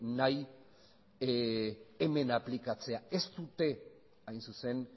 nahi hemen aplikatzea ez dute hain zuzen